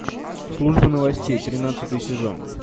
служба новостей тринадцатый сезон